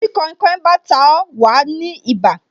Tí kainkain bá ta ó, wa ní ibà